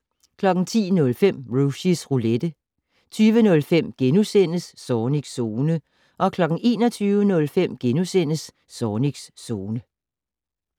10:05: Rushys Roulette 20:05: Zornigs Zone * 21:05: Zornigs Zone *